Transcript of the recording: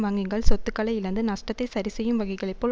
வங்கிகள் சொத்துக்களை இழந்து நஷ்டத்தை சரி செய்யும் வகைகளை போல்